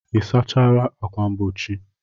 Ị sachala ákwà mgbochi?